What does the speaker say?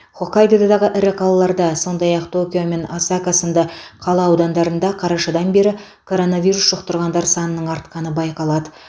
хоккайдодағы ірі қалаларда сондай ақ токио мен осака сынды қала аудандарында қарашадан бері коронавирус жұқтырғандар санының артқаны байқалады